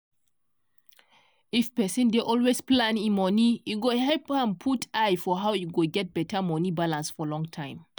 if person dey always plan e moni e go help am put eye for how e go get beta moni balance for long time.